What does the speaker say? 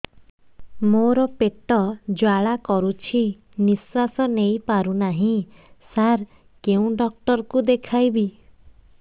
ମୋର ପେଟ ଜ୍ୱାଳା କରୁଛି ନିଶ୍ୱାସ ନେଇ ପାରୁନାହିଁ ସାର କେଉଁ ଡକ୍ଟର କୁ ଦେଖାଇବି